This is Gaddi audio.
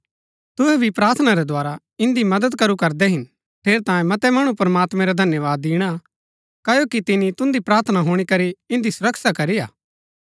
तुहै भी प्रार्थना रै द्धारा इन्दी मदद करू करदै हिन ठेरैतांये मतै मणु प्रमात्मैं रा धन्यवाद दिणा क्ओकि तिनी तुन्दी प्रार्थना हुणी करी इन्दी सुरक्षा करी हा